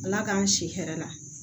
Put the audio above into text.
Ala k'an si hɛrɛ la